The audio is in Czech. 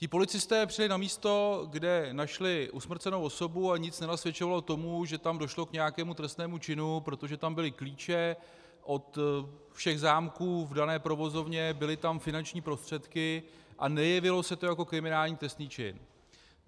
Ti policisté přijeli na místo, kde našli usmrcenou osobu a nic nenasvědčovalo tomu, že tam došlo k nějakému trestnému činu, protože tam byly klíče od všech zámků v dané provozovně, byly tam finanční prostředky a nejevilo se to jako kriminální trestný čin.